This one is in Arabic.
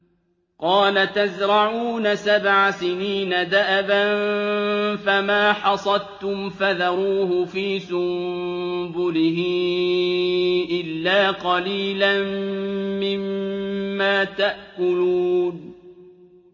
قَالَ تَزْرَعُونَ سَبْعَ سِنِينَ دَأَبًا فَمَا حَصَدتُّمْ فَذَرُوهُ فِي سُنبُلِهِ إِلَّا قَلِيلًا مِّمَّا تَأْكُلُونَ